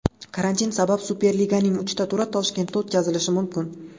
Karantin sabab Superliganing uchta turi Toshkentda o‘tkazilishi mumkin.